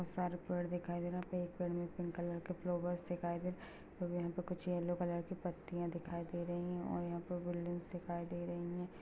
बोहोत सारे पेड़ दिखाय दे रहे हैं। एक पेड़ में पिंक कलर के फ्लावर्स दिखाय दे रहे हैं। यहाँ पर कुछ यल्लो कलर की कुछ पत्तियाँ भी दिखाय दे रही हैं और यहाँ पर बिल्डिंगस दिखायी दे रही हैं।